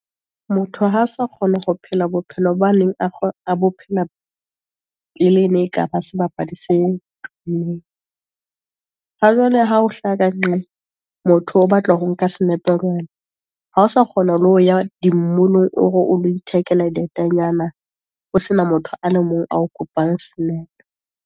Motho ha sa kgona ho phela bophelo ba neng pele e ne e kaba sebapadi se tumeng, ha jwale ha o hlaha ka nqale, motho o batla ho nka senepe le wena. Ha o sa kgona le ho ya dimolong, o re o lo ithekela dietanyana, ho sena motho a le mong ao kopang senepe.